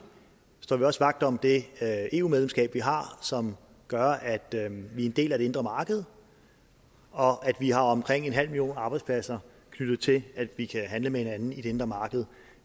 står vi også vagt om det eu medlemskab vi har som gør at vi er en del af det indre marked og at vi har omkring en halv million arbejdspladser knyttet til at vi kan handle med hinanden i det indre marked